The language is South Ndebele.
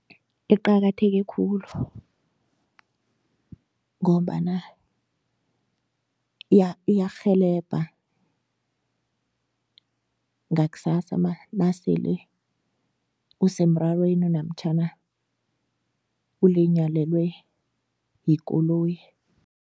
Eqakatheke khulu ngombana iyarhelebha ngaksasa nasele usemrarweni namtjhana ulinyalelwe yikoloyi.